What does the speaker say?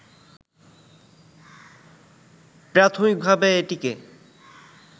প্রাথমিকভাবে এটিকে